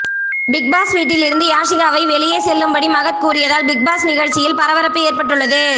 Bigg Boss வீட்டில் இருந்து யாஷிகாவை வெளியே செல்லும்படி மகத் கூறியதால் பிக்பாஸ் நிகழ்ச்சியில் பரபரப்பு ஏற்பட்டுள்ளது